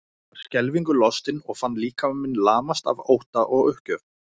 Ég var skelfingu lostin og fann líkama minn lamast af ótta og uppgjöf.